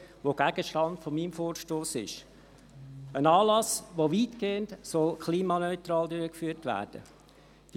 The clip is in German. der Gegenstand meines Vorstosses ist ein Anlass, der weitgehend klimaneutral durchgeführt werden soll.